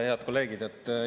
Head kolleegid!